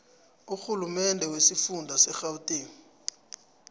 urhulumende wesifunda segauteng